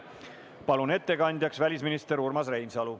Palun ettekandjaks välisminister Urmas Reinsalu.